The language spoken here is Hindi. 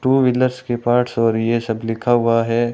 टू व्हीलर्स के पार्ट्स और ये सब लिखा हुआ है।